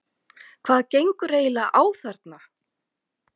HVAÐ GENGUR EIGINLEGA Á ÞARNA?